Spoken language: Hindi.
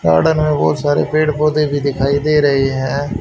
गार्डन में बहुत सारे पेड़ पौधे भी दिखाई दे रहे हैं।